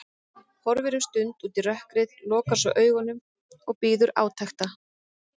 Horfir um stund út í rökkrið, lokar svo augunum og bíður átekta.